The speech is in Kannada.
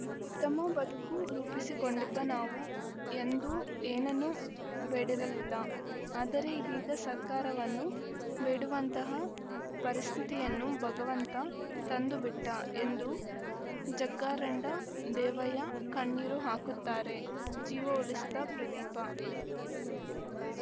ಉತ್ತಮ ಬದುಕು ರೂಪಿಸಿಕೊಂಡಿದ್ದ ನಾವು ಎಂದೂ ಏನನ್ನೂ ಬೇಡಿರಲಿಲ್ಲ ಆದರೆ ಇದೀಗ ಸರ್ಕಾರವನ್ನು ಬೇಡುವಂತಹ ಪರಿಸ್ಥಿತಿಯನ್ನು ಭಗವಂತ ತಂದುಬಿಟ್ಟಎಂದು ಜಗ್ಗಾರಂಡ ದೇವಯ್ಯ ಕಣ್ಣೀರು ಹಾಕುತ್ತಾರೆ ಜೀವ ಉಳಿಸಿದ ಪ್ರದೀಪ